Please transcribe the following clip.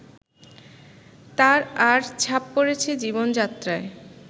আর তার ছাপ পড়েছে জীবনযাত্রায়